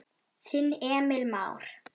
Þinn Emil Már.